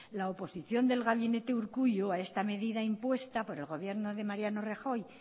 la oposición del gabinete urkullu a esta medida impuesta por el gobierno de mariano rajoy